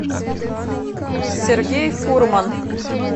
сергей фурман